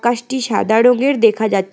গাছটি সাদা রংয়ের দেখা যা--